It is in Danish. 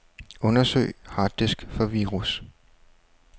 Undersøg harddisk for virus.